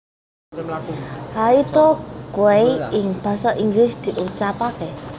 Haida Gwaii ing basa Inggris diucapkaké